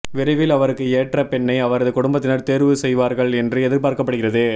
விரைவில் அவருக்கு ஏற்ற பெண்ணை அவரது குடும்பத்தினர் தேர்வு செய்வார்கள் என்று எதிர்பார்க்கப்படுகிறது